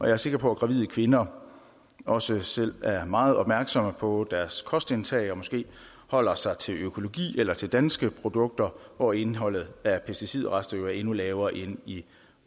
er sikker på at gravide kvinder også selv er meget opmærksomme på deres kostindtag og måske holder sig til økologi eller til danske produkter hvor indholdet af pesticidrester jo er endnu lavere end i